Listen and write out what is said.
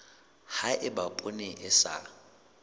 ha eba poone e sa